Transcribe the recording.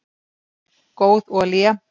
góð olía